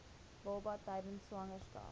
baba tydens swangerskap